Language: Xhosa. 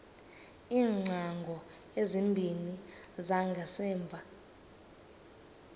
iingcango ezimbini zangasemva